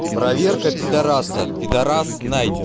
проверка пидораса пидорас найден